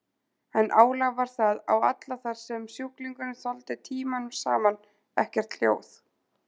En álag var það á alla þar sem sjúklingurinn þoldi tímunum saman ekkert hljóð.